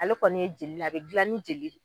Ale kɔni ye jel'a be dilan ni jeli ye.